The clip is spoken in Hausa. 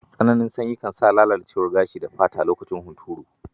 Tsananin sanyi kan sa lalacewar kashi da fata a lokacin huturu.